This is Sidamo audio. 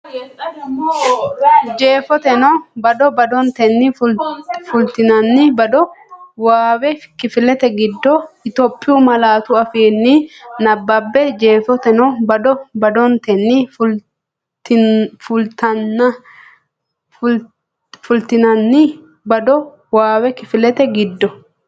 Jeefoteno bado badotenni fultinanni boode waaawe kifilete giddo Itophiyu malaatu afiinni nabbabbe Jeefoteno bado badotenni fultinanni boode waaawe kifilete giddo.